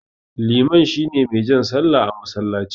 Liman shine mai jan sallah a masallaci.